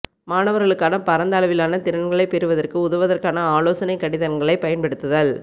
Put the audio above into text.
மாணவர்களுக்கான பரந்த அளவிலான திறன்களைப் பெறுவதற்கு உதவுவதற்கான ஆலோசனைக் கடிதங்களைப் பயன்படுத்துதல்